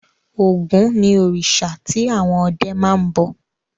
Ògún ni òrìṣà tí àwọn ọdẹ máa ń bọ.